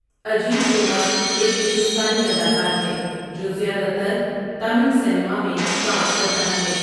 اجیت کمار ایک ہندوستانی اداکار ہے جو زیادہ تر تامل سنیما میں کام کرتا ہے۔